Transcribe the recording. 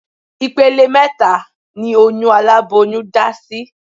Ìpele mẹ́ta ni oyún aláboyún dá sí